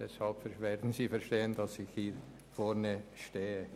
Deshalb werden Sie verstehen, weshalb ich hier vorne stehe.